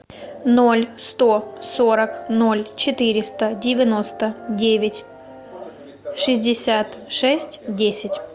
ноль сто сорок ноль четыреста девяносто девять шестьдесят шесть десять